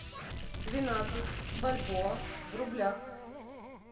двенадцать бальбоа в рублях